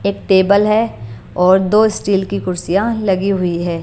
एक टेबल है और दो स्टील की कुर्सियां लगी हुई हैं।